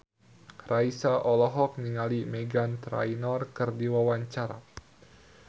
Raisa olohok ningali Meghan Trainor keur diwawancara